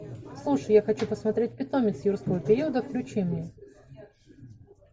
слушай я хочу посмотреть питомец юрского периода включи мне